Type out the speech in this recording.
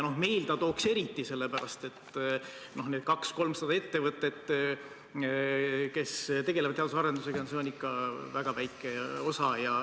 Meil ta tooks eriti, sest need 200–300 ettevõtet, kes tegelevad teadus- ja arendustegevusega, on ikka väga väike osa.